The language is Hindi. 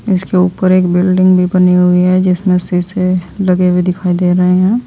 इसके ऊपर एक बिल्डिंग भी बनी हुई हैं जिसमें शीशे लगे हुए दिखाई दे रहे हैं।